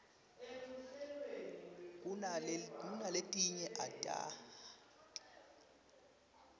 kunaletinye ati ayiniwi